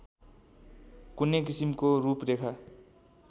कुनै किसिमको रूपरेखा